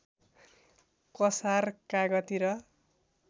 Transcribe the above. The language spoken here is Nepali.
कसार कागती र